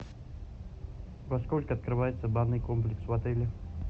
во сколько открывается банный комплекс в отеле